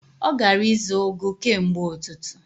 Ọ gara ịzụ ugu kemgbe ụtụtụ.